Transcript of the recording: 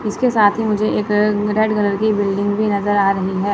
इसके साथ ही मुझे एक रेड कलर की बिल्डिंग भी नजर आ रही है।